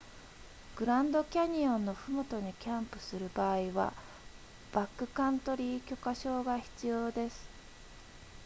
グランドキャニオンのふもとにキャンプする場合はバックカントリー許可証が必要です